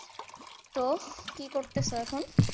তো কি করতেছ এখন?